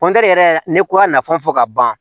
yɛrɛ ne ko a nafa fɔ ka ban